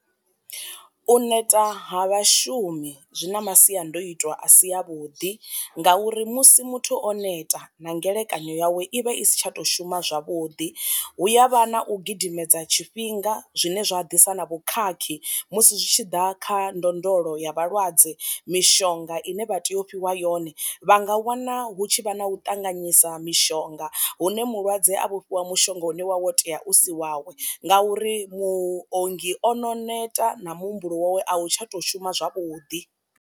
U neta ha vha shumi zwi na masiandoitwa a si a vhuḓi ngauri musi muthu o neta na ngelekanyo yawe i vha i si tsha to shuma zwavhuḓi, hu ya vha na u gidimedza tshifhio zwinga zwine zwa ḓisa na vhu khakhi musi zwi tshi ḓa kha ndondolo ya vhalwadze, mishonga ine vha tea u fhiwa yone vha nga wana hu tshi vha na u ṱanganyisa mishonga hune mulwadze a vhofhiwa mushonga une wa wo tea u si wawe ngauri mu ongi ono neta na muhumbulo wawe a u tsha to shuma zwavhuḓi.